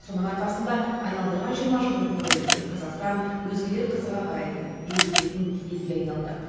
соның арқасында айналдырған жиырма жылдың төңірегінде қазақстан өзгелер қызыға қарайтын елітетін елге айналды